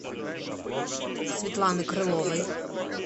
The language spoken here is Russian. светланы крыловой